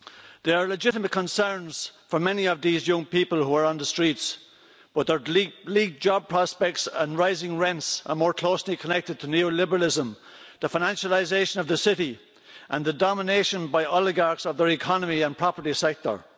There are legitimate concerns for many of these young people who are on the streets, with their bleak job prospects and rising rents more closely connected to neoliberalism, the financialisation of the city and the domination by oligarchs of their economy and the property sector.